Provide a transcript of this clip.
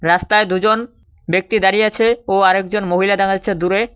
রাস্তায় দুজন ব্যক্তি দাঁড়িয়ে আছে ও আরেকজন মহিলা দেখা যাচ্ছে দূরে।